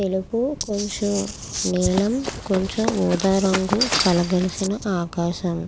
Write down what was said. తెలుపు కొంచం నీలం కొంచం ఊదారంగు కొంచం కల కలిసిన ఆకాశం.